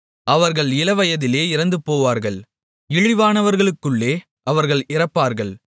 அவர்கள் இளவயதிலே இறந்துபோவார்கள் இழிவானவர்களுக்குள்ளே அவர்கள் இறப்பார்கள்